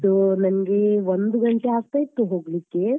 So ನನ್ಗೆ ಒಂದು ಗಂಟೆ ಆಗ್ತಾಯಿತ್ತು ಹೋಗ್ಲಿಕ್ಕೆ.